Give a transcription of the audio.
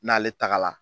N'ale tagala